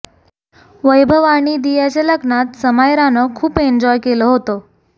वैभव आणि दियाच्या लग्नात समायरानं खूप एन्जॉय केलं होतं